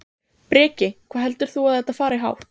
Breki: Hvað heldur þú að þetta fari hátt?